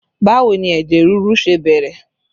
Báwo ni ẹ̀jẹ̀ ríru ṣe bẹ̀rẹ̀?